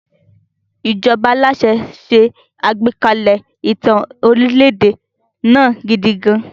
Ìjọba aláṣẹ ṣe àgbékalẹ̀ ìtàn orílẹ̀-èdè náà gidi gan-an.